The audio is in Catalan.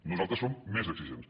nosaltres som més exigents